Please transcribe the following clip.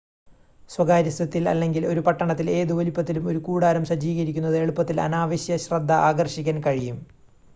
സ്വകാര്യ സ്വത്തിൽ അല്ലെങ്കിൽ ഒരു പട്ടണത്തിൽ ഏത് വലുപ്പത്തിലും ഒരു കൂടാരം സജ്ജീകരിക്കുന്നത് എളുപ്പത്തിൽ അനാവശ്യ ശ്രദ്ധ ആകർഷിക്കാൻ കഴിയും